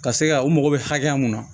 Ka se ka u mago bɛ hakɛya mun na